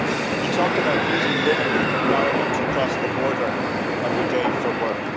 He talked about meeting women in Ireland who cross the border every day for work.